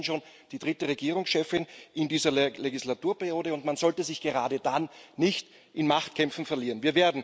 Sie sind immerhin schon die dritte Regierungschefin in dieser Legislaturperiode und man sollte sich gerade dann nicht in Machtkämpfen verlieren.